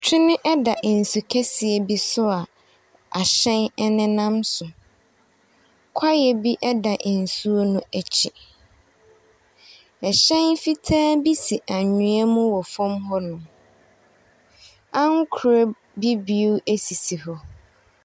Twene da nsukɛseɛ bi so a ahyɛn nenam so. Kwaeɛ bi da nsuo no akyi. Ɛhyɛn fitaa bi si anwea mu wɔ fam hɔnom. Ankorɛ bibire sisi hɔ.